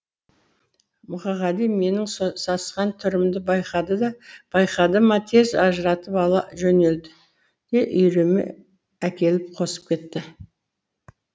мұқағали менің сасқан түрімді байқады ма тез ажыратып ала жөнелді де үйіріме әкеліп қосып кетті